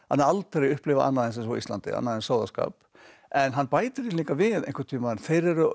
aldrei upplifað annað eins og á Íslandi annan eins sóðaskap en hann bætir því líka við einhvern tímann þeir eru